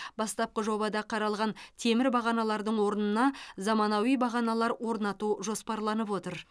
бастапқы жобада қаралған темір бағаналардың орнына заманауи бағаналар орнату жоспарланып отыр